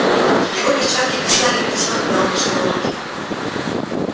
его перчатки блистали белизной когда он пожимал руки